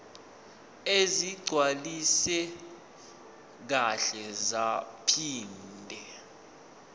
ezigcwaliswe kahle zaphinde